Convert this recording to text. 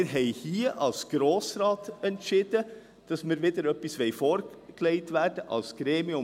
Wir haben hier als Grosser Rat entschieden, dass wir hier wieder etwas vorgelegt erhalten wollen, als Gremium.